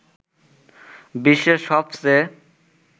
বিশ্বের সবচেয়ে